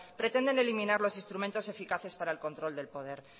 pretende eliminar los instrumentos eficaces para el control del poder